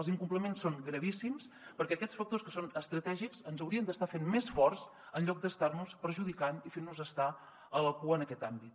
els incompliments són gravíssims perquè aquests factors que són estratègics ens haurien d’estar fent més forts en lloc d’estar nos perjudicant i fent nos estar a la cua en aquest àmbit